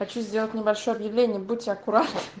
хочу сделать небольшое объявление будьте аккуратны